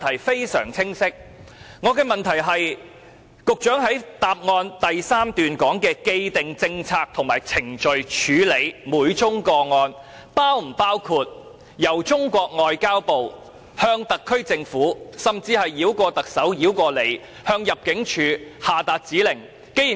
局長在主體答覆第三段提及的"既定政策及程序"，是否包括由中國外交部向特區政府下達指令，甚至繞過特首和局長向入境處下達指令？